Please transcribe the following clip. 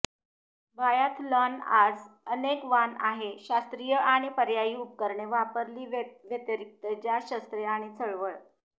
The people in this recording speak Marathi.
बायाथलॉन आज अनेक वाण आहे शास्त्रीय आणि पर्यायी उपकरणे वापरली व्यतिरिक्त ज्या शस्त्रे आणि चळवळ